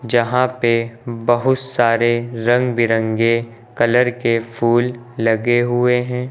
जहां पे बहुत सारे रंग बिरंगे कलर के फूल लगे हुए हैं।